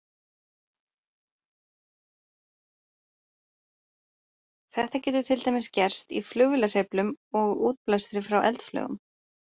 Þetta getur til dæmis gerst í flugvélahreyflum og útblæstri frá eldflaugum.